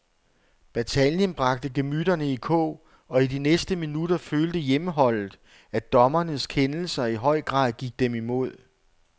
Bataljen bragte gemytterne i kog, og i de næste minutter følte hjemmeholdet, at dommernes kendelser i høj grad gik dem imod.